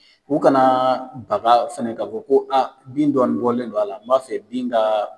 U kana baga fana k'a fɔ ko a bin dɔɔnin bɔlen don a la n b'a fɛ bin ka